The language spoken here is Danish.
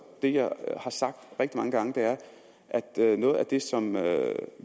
det jeg har sagt rigtig mange gange og noget af det som